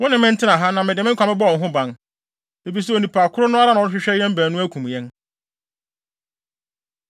Wo ne me ntena ha, na mede me nkwa bɛbɔ wo ho ban, efisɛ onipa koro no ara na ɔrehwehwɛ yɛn baanu akum yɛn.”